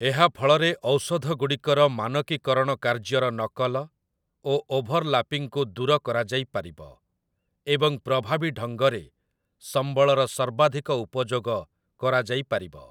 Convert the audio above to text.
ଏହା ଫଳରେ ଔଷଧଗୁଡ଼ିକର ମାନକୀକରଣ କାର୍ଯ୍ୟର ନକଲ ଓ ଓଭରଲାପିଂକୁ ଦୂର କରାଯାଇପାରିବ, ଏବଂ ପ୍ରଭାବୀ ଢଙ୍ଗରେ ସମ୍ବଳର ସର୍ବାଧିକ ଉପଯୋଗ କରାଯାଇପାରିବ ।